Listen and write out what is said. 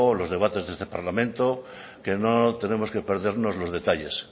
los debates de este parlamento que no tenemos que perdernos los detalles